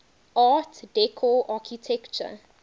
art deco architecture